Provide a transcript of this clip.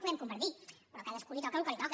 podem compartir però a cadascú li toca el que li toca